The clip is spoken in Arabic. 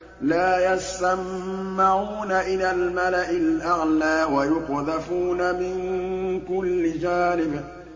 لَّا يَسَّمَّعُونَ إِلَى الْمَلَإِ الْأَعْلَىٰ وَيُقْذَفُونَ مِن كُلِّ جَانِبٍ